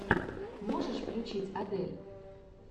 можешь включить адель